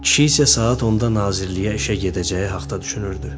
Kişi isə saat onda nazirliyə işə gedəcəyi haqda düşünürdü.